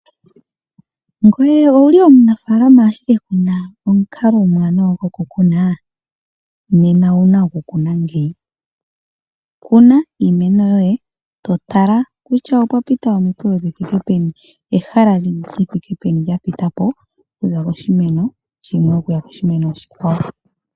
Owuli omunafaalama ashike kuna omukalo omwaanawa gokukuna? Nena owuna okukuna ngeyi , kuna iimeno yoye totatala kutya okwapita omikwewo dhithike peni , ehala lithike peni lyapitapo okuza koshimeno shimwe okuya koshimeno oshikwawo .